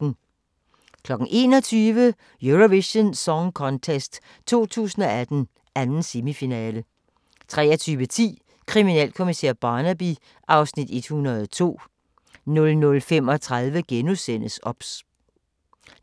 21:00: Eurovision Song Contest 2018, 2. semifinale 23:10: Kriminalkommissær Barnaby (Afs. 102) 00:35: OBS